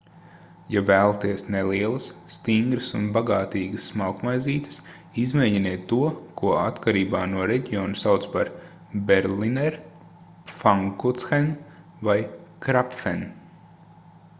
ja vēlaties nelielas stingras un bagātīgas smalkmaizītes izmēģiniet to ko atkarībā no reģiona sauc par berliner pfannkuchen vai krapfen